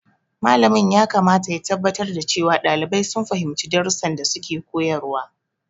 Malamin yakamata ya tabbatar da cewa ɗalibai sun fahimci darussan da suke koyarwa.